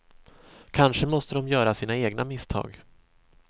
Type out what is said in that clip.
Kanske måste de göra sina egna misstag.